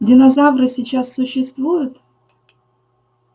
динозавры сейчас существуют